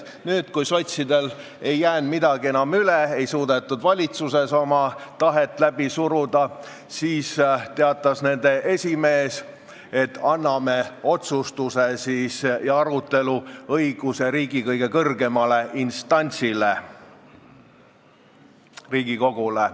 Nüüd, kui sotsidel ei jäänud midagi enam üle, ei suudetud valitsuses oma tahet läbi suruda, teatas nende esimees, et anname otsustuse ja arutelu õiguse riigi kõige kõrgemale instantsile, Riigikogule.